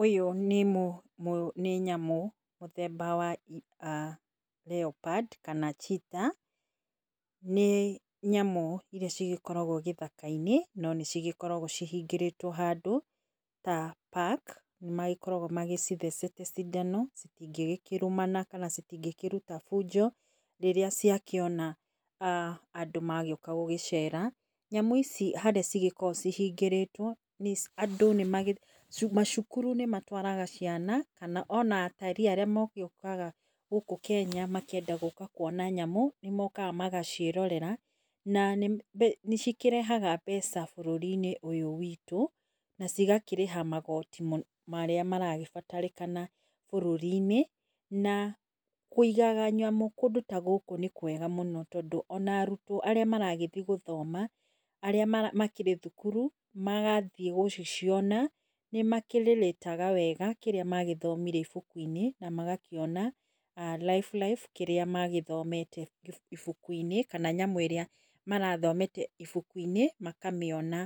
Ũyũ nĩ nyamũ mũthemba wa leopard kana cheetar nĩ nyamũ irĩa cigĩkoragwo gĩthaka -inĩ nĩcikoragwo cihingĩrĩtwo handũ ta park. Nĩmagĩkoragwo magĩcithete cindano citĩngĩkĩrũmana kana itingĩkĩruta bunjo rĩrĩa ciakĩona uh andũ magĩũka gũcera. Nyamũ ici harĩa cigĩkoragwo cihingĩrĩtwo andũ, macukuru nĩmagĩtwaraga ciana kana atalii arĩa mokĩte kana magĩũkaga gũkũ Kenya makĩenda kuona nyamũ nĩmagĩũkaga magaciĩrorera na nĩcikĩrehaga mbeca bũrũri -inĩ ũyũ witũ na cigakĩrĩha magoti marĩa marakĩbatarĩkana bũrũri -inĩ. Na kũigaga nyamũ kũndũ ta gũkũ nĩ kwega mũno tondũ ona arutwo arĩa maragĩthiĩ gũthoma arĩa makĩrĩ thukuru magathiĩ gũciciona nĩ makĩrĩrĩtaga wega kĩrĩa magĩthomire ibuku inĩ na magakĩona life life magakĩona kĩrĩa mathomeire ibuku inĩ kana nyamũ ĩrĩa marathomete ibuku-inĩ makamĩona